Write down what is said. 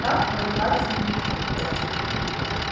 как воевать с невидимкой